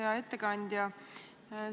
Hea ettekandja!